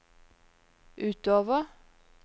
utover